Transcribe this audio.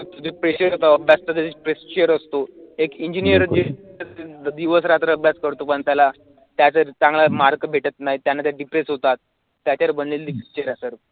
pressure येतं pressure असतो, एक engineer दिवस रात्र अभ्यास करतो पण त्याला त्यासाठी चांगला mark भेटत नाही त्याने ते depress होतात, त्याच्यावर बनलेली picture आहे sir